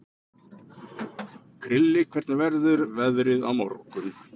Krilli, hvernig verður veðrið á morgun?